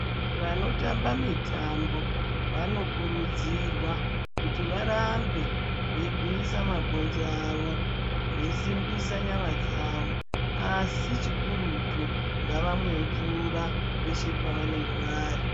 Vanotamba mitambo, vanokurudzirwa kuti varambe veigwinyisa mabhonzo awo, veisimbisa nyama dzavo. Asi chikuruti ngavamwe mvura peshe pavanenge vari.